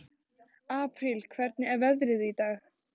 Apríl, hvernig er veðrið í dag?